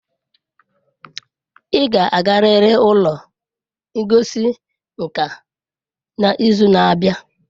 Ị ga-agarịrị ụlọ ngosi nka n'izu na-abịa